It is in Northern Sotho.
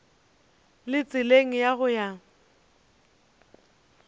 le tseleng ya go ya